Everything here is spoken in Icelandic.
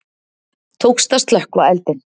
Tókst að slökkva eldinn